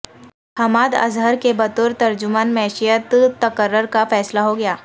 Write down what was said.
حماد اظہر کے بطور ترجمان معیشت تقرر کا فیصلہ ہو گیا